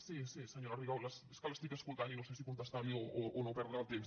sí sí senyora rigau és que l’estic escoltant i no sé si contestar li o no perdre el temps